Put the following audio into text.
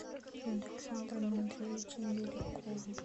александром андреевичем беляковым